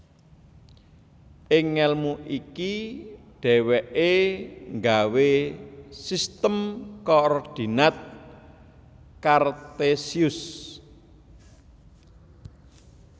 Ing ngelmu iki dheweke nggawe Sistem Koordinat Kartesius